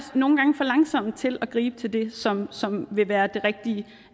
nogle gange for langsomme til at gribe til det som som vil være det rigtige